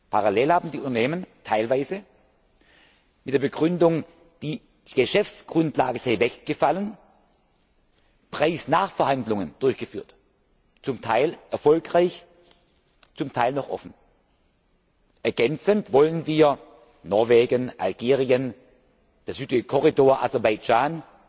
Parallel haben die Unternehmen teilweise mit der Begründung, die Geschäftsgrundlage sei weggefallen, Preisnachverhandlungen durchgeführt zum Teil erfolgreich, zum Teil noch offen. Ergänzend wollen wir in Norwegen, Algerien, dem südlichen Korridor, Aserbaidschan